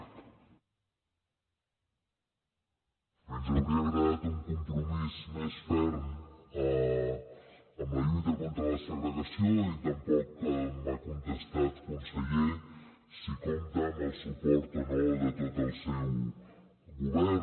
ens hauria agradat un compromís més ferm amb la lluita contra la segregació i tampoc m’ha contestat conseller si compta amb el suport o no de tot el seu govern